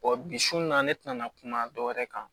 bi sun na ne tɛna na kuma dɔwɛrɛ kan